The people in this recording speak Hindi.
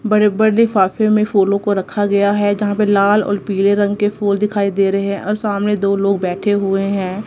बड़े बड़े लिफाफे में फूलों को रखा गया है जहां पे लाल और पीले रंग के फूल दिखाई दे रहे हैं और सामने दो लोग बैठे हुए हैं।